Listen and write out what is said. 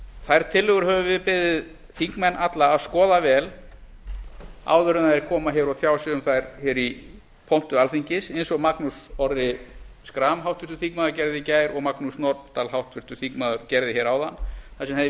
þær tillögur höfum við beðið þingmenn alla að skoða vel áður en þeir koma hér og tjá sig um þær hér í pontu alþingis eins og magnús orri schram háttvirtur þingmaður atriði í gær og magnús norðdahl háttvirtur þingmaður gerði hér áðan þar sem þeir